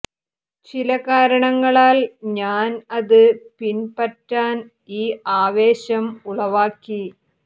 ചില കാരണങ്ങളാൽ ഞാൻ അത് പിൻപറ്റാൻ ഈ ആവേശം ഉളവാക്കി